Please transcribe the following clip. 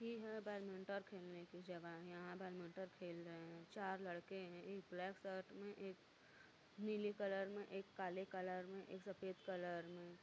ई ह बैडमिंटन खेलने की जगह यहाँ बैंडबिंटन खेल रहे है चार लड़के एक ब्लैक कलर में एक नीले कलर में एक काले कलर में एक सफ़ेद कलर में।